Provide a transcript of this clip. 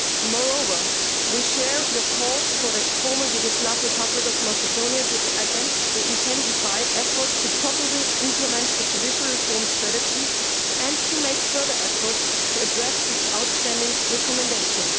Moreover, we share your calls for the Former Yugoslav Republic of Macedonia to intensify efforts to properly implement the judicial reform strategy and to make further efforts to address the outstanding recommendations.